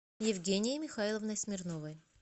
евгенией михайловной смирновой